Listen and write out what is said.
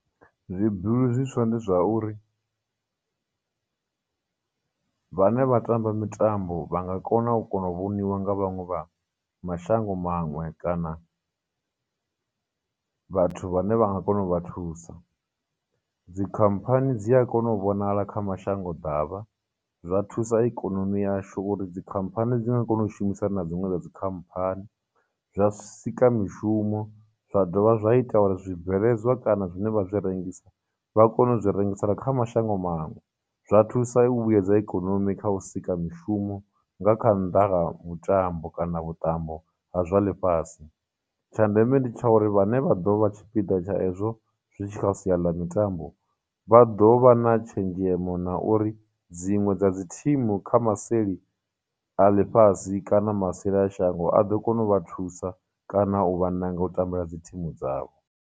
Zwibuli zwiswa ndi zwa uri, vhane vha tamba mitambo vha nga kona u kona u vhoniwa nga vhaṅwe vha mashango maṅwe kana vhathu vhane vha nga kona u vha thusa. khamphani dzi a kona u vhonala kha mashango ḓavha, zwa thusa ikonomi yashu uri khamphani dzi nga kona u shumisana na dziṅwe dza khamphani, zwa sika mishumo, zwa dovha zwa ita uri zwibveledzwa kana zwine vha zwi rengisa, vha kone u zwi rengisela kha mashango manwe, zwa thusa u vhuyedza ikonomi kha u sika mishumo nga kha mutambo kana vhuṱambo ha zwa ḽifhasi. Tsha ndeme ndi tsha uri vhane vha ḓo vha tshipiḓa tsha ezwo zwi tshi kha sia ḽa mitambo, vha ḓo vha na tshenzhemo na uri, dziṅwe dza dzi thimu kha maseli a ḽifhasi kana maseli a shango a ḓo kona u vha thusa kana u vha ṋanga u ṱambela dzi thimu dzavho.